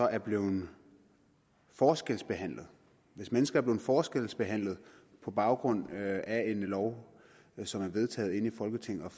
er blevet forskelsbehandlet hvis mennesker er blevet forskelsbehandlet på baggrund af en lov som er vedtaget inde i folketinget